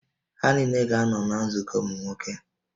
Ha niile ga-anọ na nzukọ ụmụ nwoke